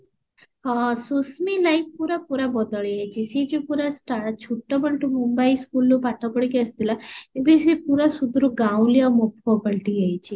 ହଁ ସୁଶମୀ life ପୁରା ପୁରା ବଦଳି ଯାଇଛି ସିଏ ଯୋଉ ପୁରା start ଛୋଟ ବେଳଠୁ mumbai school ରୁ ପାଠ ପଢିକି ଆସିଥିଲା ଏବେ ସେ ପୁରା ସୁଦୁରୁ ଗାଉଁଲି ଆଉ ମଫ ପାଲଟି ଯାଇଛି